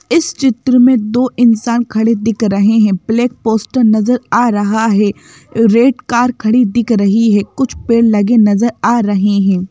इस चित्र में दो इंसान खड़े दिख रहे हैं ब्लैक पोस्टर नजर आ रहा है रेड कार खड़ी दिख रही है कुछ पेड़ लगे नजर आ रहे हैं।